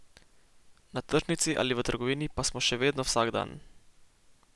Na tržnici ali v trgovini pa smo še vedno vsak dan!